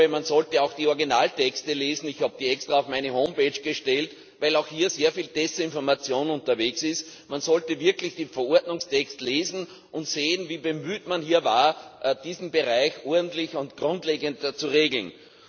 Man sollte auch die Originaltexte lesen ich habe die extra auf meine Homepage gestellt, weil auch hier sehr viel Desinformation unterwegs ist man sollte wirklich den Verordnungstext lesen und sehen, wie bemüht man hier war, diesen Bereich ordentlich und grundlegend zu regeln.